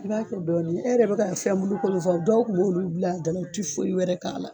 I b'a kɛ dɔɔni, e yɛrɛ bɛ ka fɛn bulu ko min fɔ, dɔw kun b'olu bil'a da la o tɛ foyi wɛrɛ k'a la.